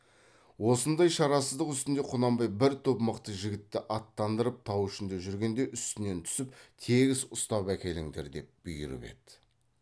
осындай шарасыздық үстінде құнанбай бір топ мықты жігітті аттандырып тау ішінде жүргенде үстінен түсіп тегіс ұстап әкеліңдер деп бұйырып еді